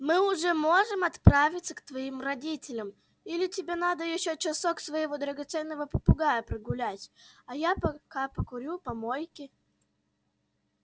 мы уже можем отправиться к твоим родителям или тебе надо ещё часок своего драгоценного попугая прогулять а я пока покурю у помойки